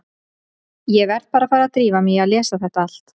Ég verð bara að fara að drífa mig í að lesa þetta allt.